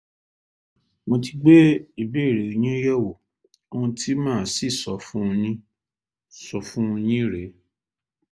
mo ti gbé ìbéèrè yín yẹ̀wò ohun tí màá sì sọ fún yín sọ fún yín rèé